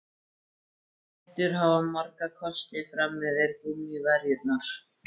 Hettur hafa marga kosti fram yfir gúmmíverjurnar.